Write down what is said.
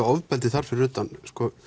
ofbeldi þar fyrir utan